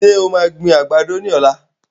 Ṣé o maa gbin àgbàdo ní ọ̀la?